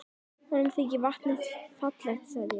Honum þykir vatnið fallegt sagði ég.